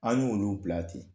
An y'olu bila ten.